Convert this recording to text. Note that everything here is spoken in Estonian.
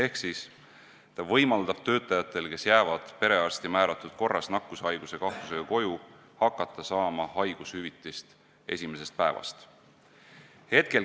See võimaldab töötajatel, kes jäävad perearsti määratud korras nakkushaiguse kahtlusega koju, hakata saama haigushüvitist esimesest päevast.